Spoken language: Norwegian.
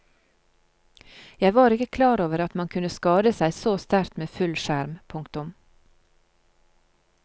Jeg var ikke klar over at man kunne skade seg så sterkt med full skjerm. punktum